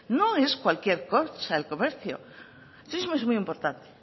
no es cualquier cosa el comercio el turismo es muy importante